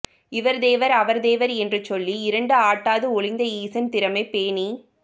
இவர் தேவர் அவர் தேவர் என்று சொல்லி இரண்டு ஆட்டாது ஒழிந்த ஈசன் திறமே பேணிக்